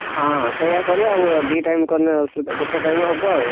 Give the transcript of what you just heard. ହଁ ସେୟା କରିବା ଆଉ ଦି time କଲେ ଅସୁବିଧା ଗୋଟେ time ହବ ଆଉ।